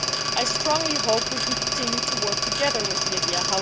I very much hope we can continue to work together with Libya.